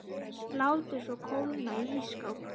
Látið svo kólna í ísskáp.